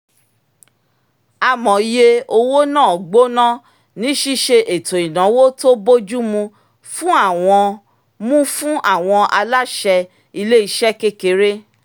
amòye owó náà gbóná ní ṣiṣe ètò ináwó tó bójú mu fún àwọn mu fún àwọn aláṣẹ ilé iṣẹ́ kékeré